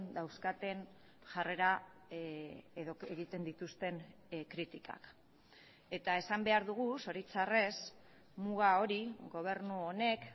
dauzkaten jarrera edo egiten dituzten kritikak eta esan behar dugu zoritxarrez muga hori gobernu honek